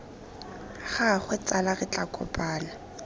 gagwe tsala re tla kopana